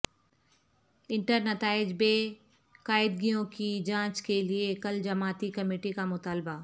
انٹرنتائج بے قاعدگیوں کی جانچ کیلئے کل جماعتی کمیٹی کا مطالبہ